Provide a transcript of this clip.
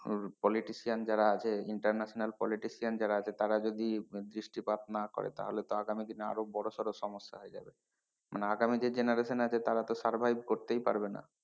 আহ Politician যারা আছে international politician যারা আছে তারা যদি দৃষ্টিপাত না করে তাহলে তো আগামী দিনে আরো বড় সর সমস্যা হয়ে যাবে মানে আগামী যে generation আছে তারা তো survive করতেই পারবে না।